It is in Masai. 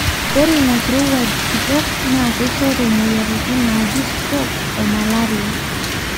ore ina kirowuaj kitok naa keishoru moyiaritini naji stroke oo malaria